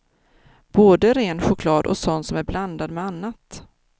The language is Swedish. Både ren choklad och sån som är blandad med annat.